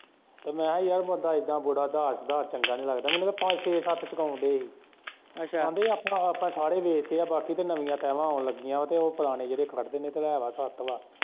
ਮੈਂ ਕਿਹਾ ਯਾਰ ਬੰਦਾ ਇੱਦਾ ਬਹੁਤਾ ਦਾਰ-ਸੂਦਾਰ ਚੰਗਾ ਨੀ ਲੱਗਦਾ ਮੈਨੂੰ ਤੇ ਪੰਜ, ਛੇ, ਸੱਤ ਚੁੱਕਾਉਣ ਦੇ ਸੀ, ਕਹਿੰਦੇ ਆਪਾਂ ਸਾਰੇ ਵੇਚ ਤੇ ਬਾਕੀ ਤੇ ਨਵੀ ਟੈਲਾਂ ਆਉਣ ਲੱਗੀਆ ਤੇ ਉਹ ਪੁਰਾਣੇ ਜਿਹੜੇ ਖੜ੍ਹਦੇ ਨੇ ਤੇ ਲੈ ਲਈ ਸੱਤ ਵਾਂ।